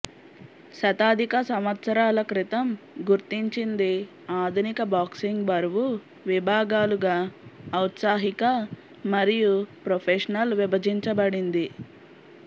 శతాధిక సంవత్సరాల క్రితం గుర్తించింది ఆధునిక బాక్సింగ్ బరువు విభాగాలుగా ఔత్సాహిక మరియు ప్రొఫెషనల్ విభజించబడింది